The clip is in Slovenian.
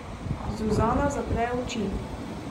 Zuzana zapre oči.